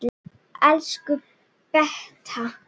Elsku Beta.